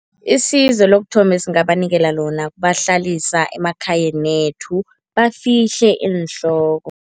Isizo lokuthoma esingabanikela lona kubahlalisa emakhayanethu, bafihle iinhloko.